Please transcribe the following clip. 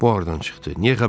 Bu haradan çıxdı?